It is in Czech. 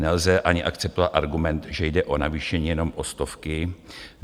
Nelze ani akceptovat argument, že jde o navýšení jenom o stovky.